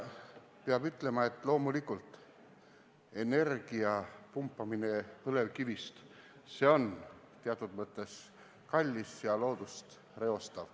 Peab ütlema, et loomulikult on energia pumpamine põlevkivist teatud mõttes kallis ja loodust reostav.